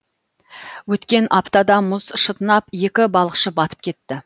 өткен аптада мұз шытынап екі балықшы батып кетті